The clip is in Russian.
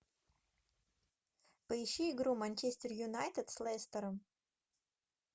поищи игру манчестер юнайтед с лестером